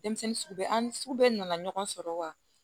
Denmisɛnnin sugu bɛɛ an ni sugu bɛɛ nana ɲɔgɔn sɔrɔ wa